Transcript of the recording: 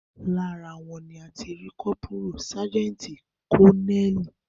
Lára wọn ni a ti rí kọ́pùrù, sájẹ́ǹtì, kọ́neẹ́ẹ̀lì